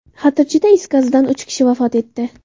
Xatirchida is gazidan uch kishi vafot etdi.